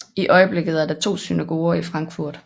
I øjeblikket er der to synagoger i Frankfurt